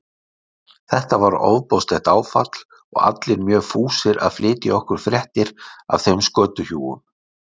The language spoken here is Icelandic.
Þetta var ofboðslegt áfall og allir mjög fúsir að flytja okkur fréttir af þeim skötuhjúum.